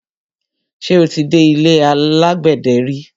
Ṣé o ti dé ilé alágbẹ̀dẹ ri?